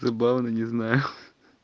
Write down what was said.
забавно не знаю